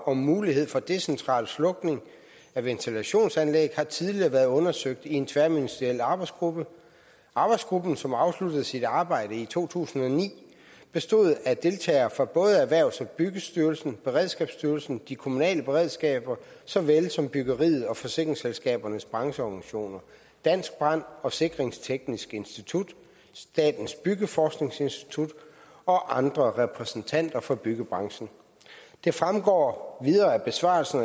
om mulighed for decentral slukning af ventilationsanlæg har tidligere været undersøgt i en tværministeriel arbejdsgruppe arbejdsgruppen som afsluttede sit arbejde i to tusind og ni bestod af deltagere fra både erhvervs og byggestyrelsen beredskabsstyrelsen de kommunale beredskaber såvel som byggeriets og forsikringsselskabernes brancheorganisationer dansk brand og sikringsteknisk institut statens byggeforskningsinstitut og andre repræsentanter fra byggebranchen det fremgår videre af besvarelsen